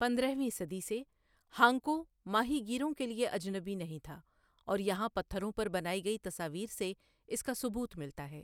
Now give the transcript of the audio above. پندرہویں صدی سے ہانکو ماہی گیروں کے لیے اجنبی نہیں تھا اور یہاں پتھروں پر بنائی گئی تصاویر سے اس کا ثبوت ملتا ہے ،